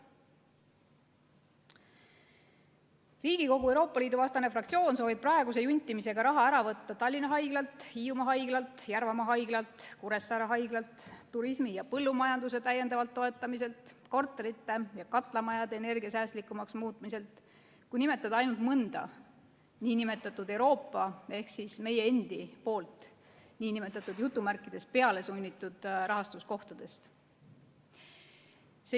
Riigikogu Euroopa Liidu vastane fraktsioon soovib praeguse juntimisega raha ära võtta Tallinna haiglalt, Hiiumaa haiglalt, Järvamaa haiglalt, Kuressaare haiglalt, turismi ja põllumajanduse täiendavalt toetamiselt, korterite ja katlamajade energiasäästlikumaks muutmiselt, kui nimetada ainult mõnda Euroopa ehk meie endi "pealesunnitud" rahastuskohtadest.